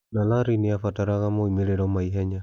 Na Larry nĩ aabataraga moimĩrĩro ma ihenya.